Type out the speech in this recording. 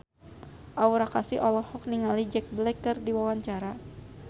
Aura Kasih olohok ningali Jack Black keur diwawancara